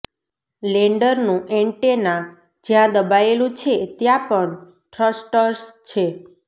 લેન્ડરનું antenna જ્યાં દબાયેલું છે ત્યાં પણ થ્રસ્ટર્સ છે